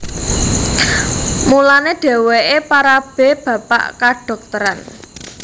Mulané dhèwèké parabé bapak kadhokteran